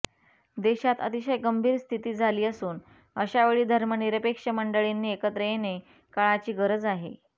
देशात अतिशय गंभीर स्थिती झाली असून अशावेळी धर्मनिरपेक्ष मंडळींनी एकत्र येणे काळाची गरज आहे